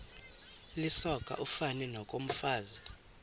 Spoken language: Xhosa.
lisoka ufani nokomfazi